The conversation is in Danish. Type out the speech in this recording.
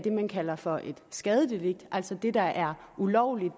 man kalder for et skadedelikt altså hvor det der er ulovligt